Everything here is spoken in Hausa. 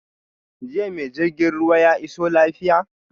Jiya ma jirgin ruwa ya iso lafiya?